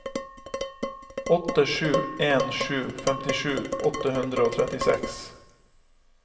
åtte sju en sju femtisju åtte hundre og trettiseks